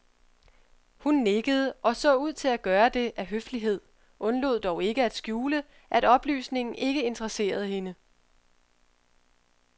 Hun nikkede og så ud til at gøre det af høflighed, undlod dog ikke at skjule, at oplysningen ikke interesserede hende.